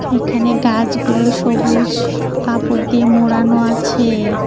এখানে গাছগুলো সবুজ কাপড় দিয়ে মোড়ানো আছে।